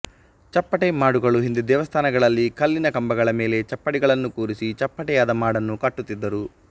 ಚಪ್ಪಟೆ ಮಾಡುಗಳು ಹಿಂದೆ ದೇವಸ್ಥಾನಗಳಲ್ಲಿ ಕಲ್ಲಿನ ಕಂಬಗಳ ಮೇಲೆ ಚಪ್ಪಡಿಗಳನ್ನು ಕೂರಿಸಿ ಚಪ್ಪಟೆಯಾದ ಮಾಡನ್ನು ಕಟ್ಟುತ್ತಿದ್ದರು